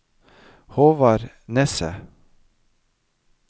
Håvard Nesset